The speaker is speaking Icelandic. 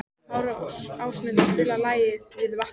Ásmundur, spilaðu lagið „Við vatnið“.